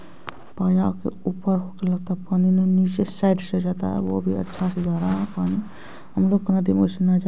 नीचे साइड से जाता और वो भी अच्छा से जा रहा है पानी हम लोग का